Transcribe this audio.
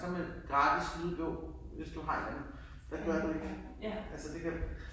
Så man gratis lydbog hvis du har en anden det gør du ikke altså det kan